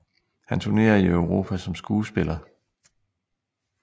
Han turnerede i Europa som skuespiller